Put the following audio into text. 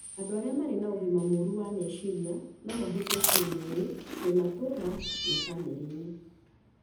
Andũ arĩa marĩ na ũgima mũru wa meciria no mahutio kĩĩmwĩrĩ, kĩmatũũra na bamĩrĩ-inĩ.